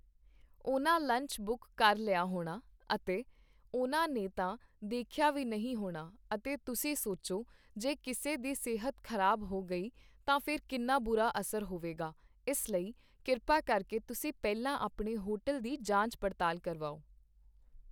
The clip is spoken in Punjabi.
ਉਹਨਾਂ ਲੰਚ ਬੁੱਕ ਕਰ ਲਿਆ ਹੋਣਾ ਅਤੇ ਉਹਨਾਂ ਨੇ ਤਾਂ ਦੇਖਿਆ ਵੀ ਨਹੀਂ ਹੋਣਾ ਅਤੇ ਤੁਸੀਂ ਸੋਚੋ ਜੇ ਕਿਸੇ ਦੀ ਸਿਹਤ ਖ਼ਰਾਬ ਹੋ ਗਈ, ਤਾਂ ਫਿਰ ਕਿੰਨਾ ਬੁਰਾ ਅਸਰ ਹੋਵੇਗਾ, ਇਸ ਲਈ ਕਿਰਪਾ ਕਰਕੇ ਤੁਸੀਂ ਪਹਿਲਾਂ ਆਪਣੇ ਹੋਟਲ ਦੀ ਜਾਂਚ ਪੜ੍ਤਾਲ ਕਰਵਾਓ